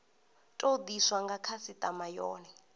tou diswa nga khasitama yone